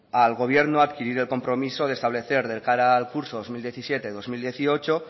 al gobierno a adquirir el compromiso de establecer de cara al curso dos mil diecisiete dos mil dieciocho